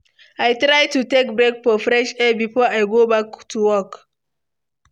I try to take break for fresh air before I go back to work.